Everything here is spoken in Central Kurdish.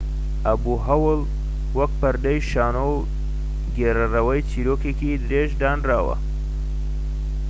ئەبوهەول وەک پەردەی شانۆ و گێڕەرەوەی چیرۆکێکی درێژ دانراوە‎